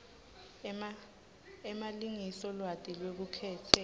emalengiso lwati lwelukhetselo